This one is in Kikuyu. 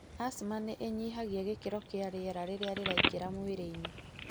Asthma nĩ ĩnyihagia gĩkiro kia riera riraingĩra mwĩrĩinĩ.